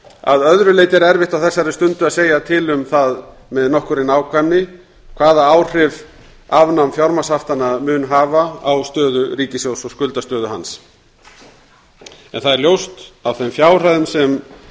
að öðru leyti er erfitt á þessari stundu að segja til um það með nokkurri nákvæmni hvaða áhrif afnám fjármagnshaftanna mun hafa á stöðu ríkissjóðs og skuldastöðu hans það er ljóst af þeim fjárhæðum sem